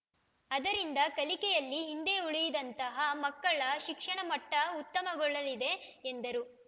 ಅದರಿಂದ ಕಲಿಕೆಯಲ್ಲಿ ಹಿಂದೆ ಉಳಿದಂತಹ ಮಕ್ಕಳ ಶಿಕ್ಷಣಮಟ್ಟಉತ್ತಮಗೊಳ್ಳಲಿದೆ ಎಂದರು